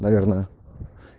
наверное